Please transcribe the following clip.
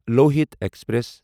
Lohit express